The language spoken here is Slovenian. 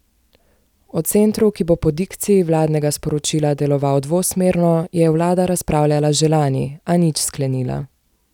O centru, ki bo po dikciji vladnega sporočila deloval dvosmerno, je vlada razpravljala že lani, a nič sklenila.